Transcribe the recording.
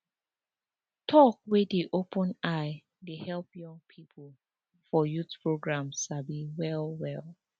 talk wey dey open eye dey help young people for youth program sabi well well